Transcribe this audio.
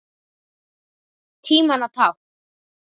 Tímanna tákn?